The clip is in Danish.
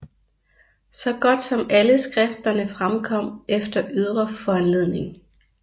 Så godt som alle skrifterne fremkom efter ydre foranledning